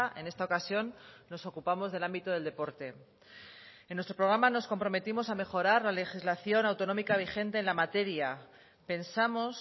en esta ocasión nos ocupamos del ámbito del deporte en nuestro programa nos comprometimos a mejorar la legislación autonómica vigente en la materia pensamos